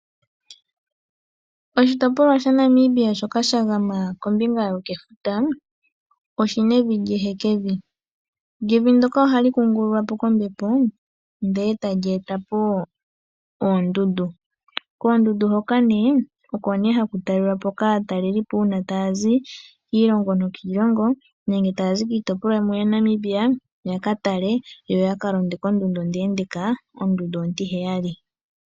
Oshitopolwa shaNamibia shoka sha gama kombinga yokefuta, oshina evi lyehekevi. Evi ndoka oha li kungululwapo kombepo ndele ta li etapo oondeyina. Oondeyina ndhoka odho nee ha dhi talelwapo kaatalelipo taa zi kiilongo niilongo nenge taa zi kiitopolwa yimwe ya Namibia yo ya ka talelepo ondundu ontiheyali.